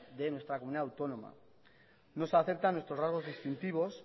de nuestra comunidad autónoma no se aceptan nuestros rasgos distintivos